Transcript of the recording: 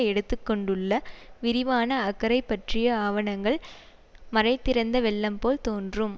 எடுத்துக்கொண்டுள்ள விரிவான அக்கறை பற்றிய ஆவணங்கள் மடைதிறந்த வெள்ளம்போல் தோன்றும்